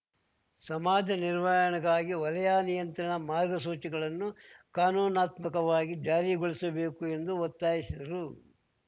ಸಮಾಜ ನಿರ್ವಹಣೆಗಾಗಿ ವಲಯ ನಿಯಂತ್ರಣ ಮಾರ್ಗಸೂಚಿಗಳನ್ನು ಕಾನೂನಾತ್ಮಕವಾಗಿ ಜಾರಿಗೊಳಿಸಬೇಕು ಎಂದು ಒತ್ತಾಯಿಸಿದರು